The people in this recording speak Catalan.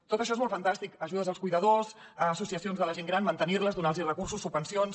tot això és molt fantàstic ajudes als cuidadors a associacions de la gent gran mantenir les donar los recursos subvencions